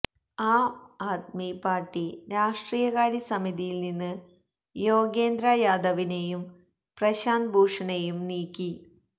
Aam Aadmi party രാഷ്ട്രീയകാര്യ സമിതിയിൽ നിന്ന് യോഗേന്ദ്ര യാദവിനെയും പ്രശാന്ത് ഭൂഷണെയും നീക്കി